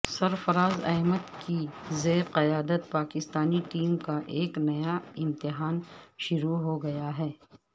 سرفرازاحمد کی زیر قیادت پاکستانی ٹیم کا ایک نیا امتحان شروع ہو گیا ہے